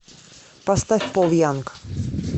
поставь пол янг